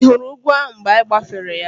Ị hụrụ ugwu ahụ mgbe anyị gbafere ya?